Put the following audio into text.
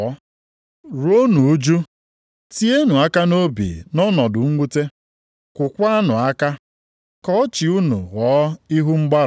Ruonụ ụjụ, tienụ aka nʼobi nʼọnọdụ mwute, kwaakwanụ akwa. Ka ọchị unu ghọọ ihu mgbarụ, ka iru ụjụ werekwa ọnọdụ ịṅụrị ọṅụ.